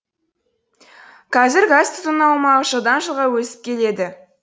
қазір газ тұтыну аумағы жылдан жылға өсіп келеді